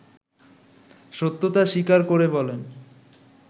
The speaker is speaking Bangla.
সত্যতা স্বীকার করে বলেন